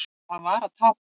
Það var að tapa.